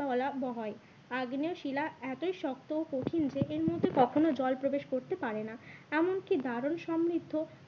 বলা হয়। আগ্নেয় শিলা এতই শক্ত ও কঠিন যে এর মধ্যে কখনো জল প্রবেশ করতে পারে না। এমন কি দারণ সমৃদ্ধ